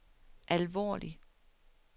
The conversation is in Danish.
alvorlig